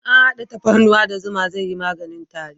In an hada tafarnuwa da zuma zai yi maganin tari